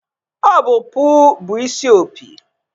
Ọ bụ puu bụ isi opi